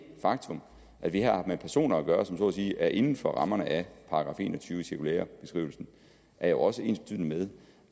faktum at vi har med personer at gøre som så at sige er inden for rammerne af § en og tyve i cirkulærebeskrivelsen er jo også ensbetydende med